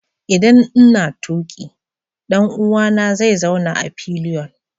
Idan n'na tuki, dan uwa na zai zauna a fillion.